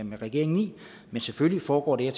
med regeringen men selvfølgelig foregår det her